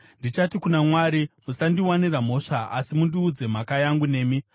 Ndichati kuna Mwari: Musandiwanira mhosva asi mundiudze mhaka yangu nemi.